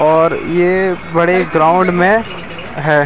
और ये बड़े ग्राउंड में है।